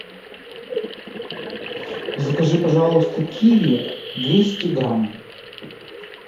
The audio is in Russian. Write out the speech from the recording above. закажи пожалуйста киви двести грамм